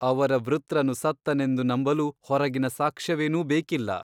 ಅವರ ವೃತ್ರನು ಸತ್ತನೆಂದು ನಂಬಲು ಹೊರಗಿನ ಸಾಕ್ಷ್ಯವೇನೂ ಬೇಕಿಲ್ಲ.